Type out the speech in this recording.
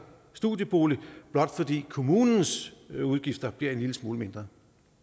studiebolig blot fordi kommunens udgifter bliver en lille smule mindre